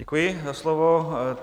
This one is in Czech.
Děkuji za slovo.